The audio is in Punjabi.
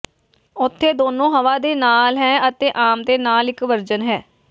ਉੱਥੇ ਦੋਨੋ ਹਵਾ ਦੇ ਨਾਲ ਹੈ ਅਤੇ ਆਮ ਦੇ ਨਾਲ ਇੱਕ ਵਰਜਨ ਹੈ